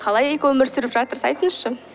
қалай экоөмір сүріп жатырсыз айтыңызшы